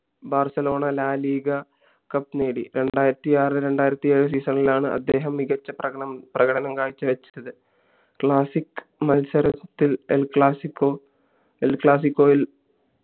Barcelona La Liga cup നേടി രണ്ടായിരത്തി ആറ് രണ്ടായിരത്തി ഏഴ് season ഇലാണ് അദ്ദേഹം മികച്ച പ്രകടനം പ്രകടനം കാഴ്ച്ചവെച്ചത് classic മത്സരത്തിൽ el classicoel classico യിൽ